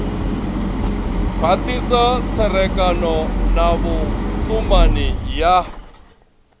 khwathisa tserekano na vhutumani ya